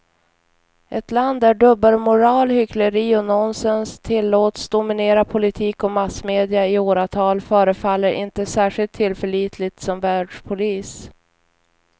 Ett land där dubbelmoral, hyckleri och nonsens tillåts dominera politik och massmedia i åratal förefaller inte särskilt tillförlitligt som världspolis.